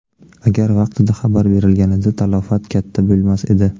Agar vaqtida xabar berilganida talafot katta bo‘lmas edi.